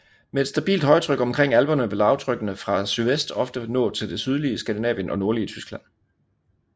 Med et stabilt højtryk omkring alperne vil lavtrykkene fra sydvest ofte nå til det sydlige Skandinavien og nordlige Tyskland